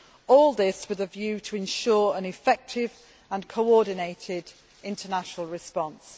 all this with a view to ensuring an effective and coordinated international response.